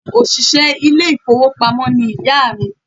Òṣìṣẹ́ ilé ìfowópamó ni ìyá à mi